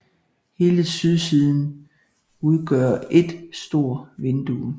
Hele sydsiden udgør et stort vindue